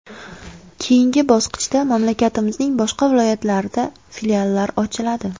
Keyingi bosqichda mamlakatimizning boshqa viloyatlarida filiallar ochiladi.